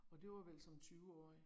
Og det var vel som 20-årig